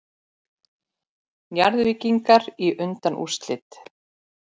Njarðvíkingar í undanúrslit